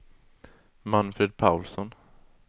Manfred Paulsson